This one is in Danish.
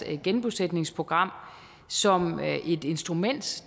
genbosætningsprogram som et instrument